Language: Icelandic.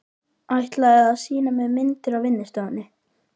Ætlaði að sýna mér myndir á vinnustofunni.